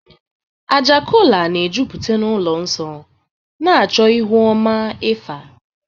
Àjà kọla na-ejupụta ụlọ nsọ, na-achọ ihu ọma Ifa.